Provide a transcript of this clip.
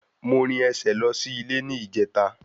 Mo rìn ẹsẹ̀ lọ sí ilé ní ìjẹta